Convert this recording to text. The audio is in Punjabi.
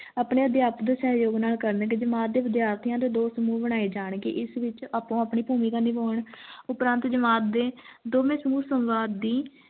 ਅਪਣੇ ਅਧਿਆਪਕ ਦੋ ਸਹਯੋਗ ਨਾਲ ਕਰਨ ਗਏ ਜਮਾਤ ਦੇ ਵਿਦਿਆਰਥੀਆਂ ਦੇ ਦੋ ਸਮੂਹ ਬਨਾਏ ਜਾਨ ਗੇ ਇਸ ਵਿਚ ਆਪੋ ਆਪਣੀ ਭੂਮਿਕਾ ਨਿਭਾਉਣ ਉਪਰਾਂਤ ਜਮਾਤ ਦੇ ਦੋਵੇ ਸਮੂਹ ਸੰਵਾਦ ਦੀ